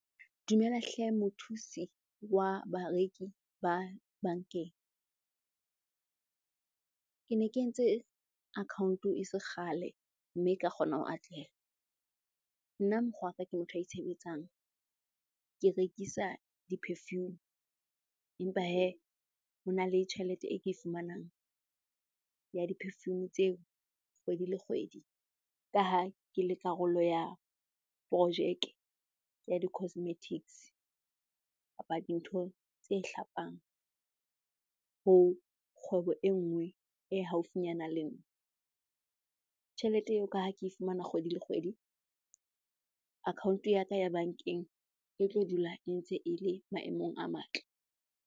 Dumela hle mothusi wa bareki ba bankeng. Ke ne ke entse account-o e se kgale mme ka kgona ho atleha. Nna mokgwaka ke motho itshebetsang. Ke rekisa di-perfume empa hee hona le tjhelete e ke e fumanang ya di-perfume tseo kgwedi le kgwedi, ka ha ke le karolo ya projeke ya di-cosmetics kapa dintho tse hlapang ho kgwebo e nngwe e haufinyana le nna. Tjhelete eo ka ha ke fumana kgwedi le kgwedi, account-o ya ka ya bankeng e tlo dula e ntse e le maemong a matle.